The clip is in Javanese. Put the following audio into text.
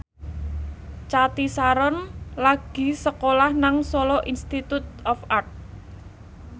Cathy Sharon lagi sekolah nang Solo Institute of Art